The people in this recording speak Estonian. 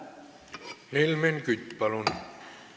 Helmen Kütt, palun!